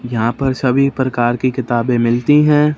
यहां पर सभी प्रकार की किताबें मिलती है।